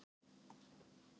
Sennilega að ná í aðstoð.